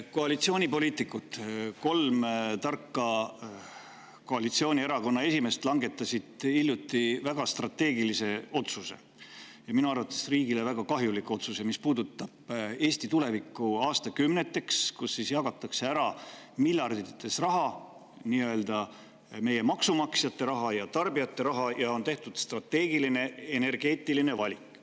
Koalitsioonipoliitikud, kolm tarka koalitsioonierakonna esimeest langetasid hiljuti väga strateegilise otsuse, minu arvates riigile väga kahjuliku otsuse, mis Eesti tulevikku aastakümneid: jagatakse ära miljardeid meie maksumaksjate raha ja tarbijate raha ja on tehtud strateegiline energeetiline valik.